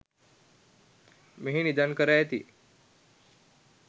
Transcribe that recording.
මෙහි නිදන් කර ඇති